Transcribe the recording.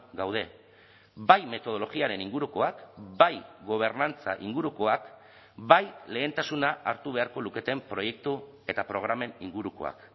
gaude bai metodologiaren ingurukoak bai gobernantza ingurukoak bai lehentasuna hartu beharko luketen proiektu eta programen ingurukoak